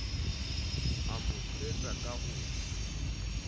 a mo thetsa ka ho